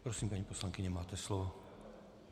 Prosím, paní poslankyně, máte slovo.